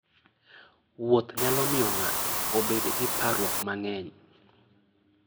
Wuoth nyalo miyo ng'ato obed gi parruok mang'eny.